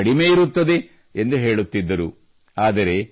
ಜಂಜಡವೂ ಕಡಿಮೆ ಇರುತ್ತದೆ ಎಂದು ಹೇಳುತ್ತಿದ್ದರು